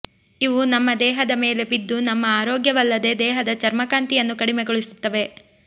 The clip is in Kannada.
ಇವು ನಮ್ಮ ದೇಹದ ಮೇಲೆ ಬಿದ್ದು ನಮ್ಮ ಆರೋಗ್ಯವಲ್ಲದೇ ದೇಹದ ಚರ್ಮಕಾಂತಿಯನ್ನು ಕಡಿಮೆಗೊಳಿಸುತ್ತವೆ